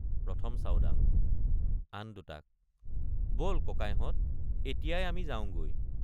১ম চাওডাং— আন দুটাক বল ককাইহঁত এতিয়াই আমি যাওঁগৈ।